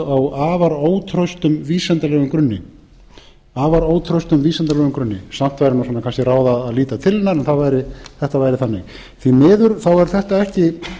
á afar ótraustum vísindalegum grunni samt væri nú kannski ráð að líta til hennar en þetta væri þannig því miður þá er þetta ekki